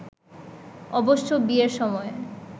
অবশ্য বিয়ের সময়